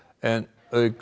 auk